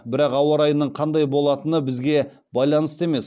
бірақ ауа райының қандай болатыны бізге байланысты емес